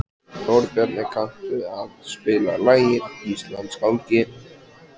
Þórbjarni, kanntu að spila lagið „Íslandsgálgi“?